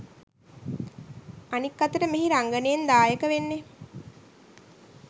අනික් අතට මෙහි රංගනයෙන් දායක වෙන්නෙ